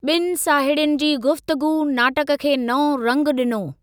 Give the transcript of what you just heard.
बि॒नि साहेड़ियुनि जी गुफ़्तगूअ नाटक खे नओं रंगु ॾिनो।